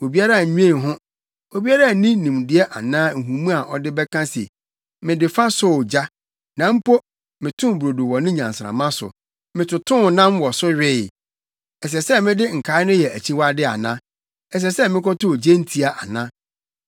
Obiara nna nnwen ho, obiara nni nimdeɛ anaa nhumu a ɔde bɛka se, “Mede fa sɔɔ ogya; na mpo metoo brodo wɔ ne nnyansramma so; metotoo nam wɔ so wee. Ɛsɛ sɛ mede nkae no yɛ akyiwade ana? Ɛsɛ sɛ mekotow gyentia ana?”